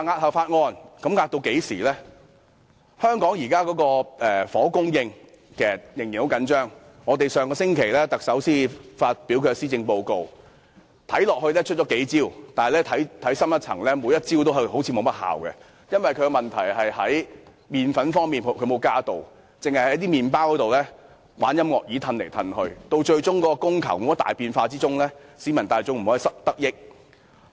香港現時的房屋供應仍然很緊張，特首上星期才發表施政報告，看起來出了幾招，但看深一層，每一招都好像沒甚麼效用，因為問題是沒有增加"麪粉"，只是將"麪包"在音樂椅上移來移去，供求始終沒有大變化，市民大眾無法得益。